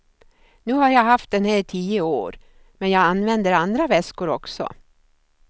Nu har jag haft den här i tio år, men jag använder andra väskor också.